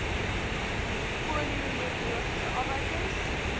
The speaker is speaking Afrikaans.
polio neurologiese afwykings